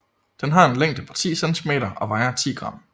Den har en længde på 10 cm og vejer 10 g